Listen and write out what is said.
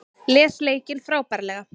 Les leikinn frábærlega